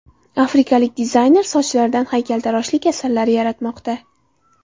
Afrikalik dizayner sochlaridan haykaltaroshlik asarlari yaratmoqda .